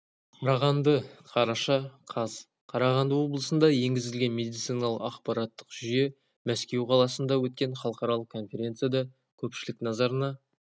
қарағанды қараша қаз қарағанды облысында енгізілген медициналық ақпараттық жүйе мәскеу қаласында өткен халықаралық конференцияда көпшілік назарына